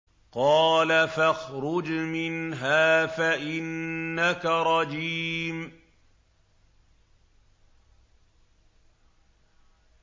قَالَ فَاخْرُجْ مِنْهَا فَإِنَّكَ رَجِيمٌ